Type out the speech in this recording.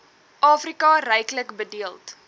afrika ryklik bedeeld